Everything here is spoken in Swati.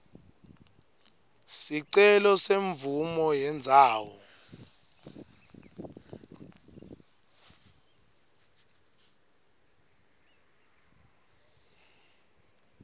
sicelo semvumo yendzawo